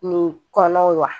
Nin kɔnɔ wa